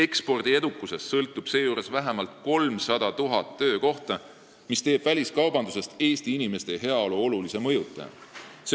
Seejuures sõltub ekspordi edukusest vähemalt 300 000 töökohta, mis teeb väliskaubandusest Eesti inimeste heaolu olulise mõjutaja.